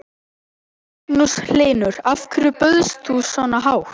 Magnús Hlynur: Af hverju bauðst þú svona hátt?